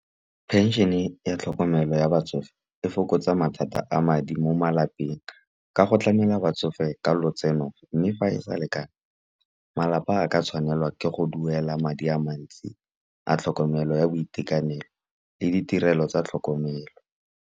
Pension-e ya tlhokomelo ya batsofe e fokotsa mathata a madi mo malapeng. Ka go tlamela batsofe ka lotseno mme fa e sa lekane, malapa a ka tshwanelwa ke go duela madi a mantsi a tlhokomelo, ya boitekanelo le ditirelo tsa tlhokomelo.